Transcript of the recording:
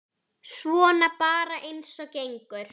Svona bara eins og gengur.